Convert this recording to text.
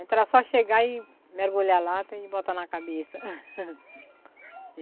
A gente era só chegar e mergulhar lá e botar na cabeça.